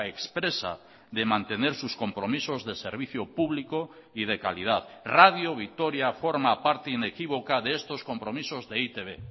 expresa de mantener sus compromisos de servicio público y de calidad radio vitoria forma parte inequívoca de estos compromisos de e i te be